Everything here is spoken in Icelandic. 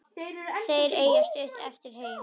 Þeir eiga stutt eftir heim.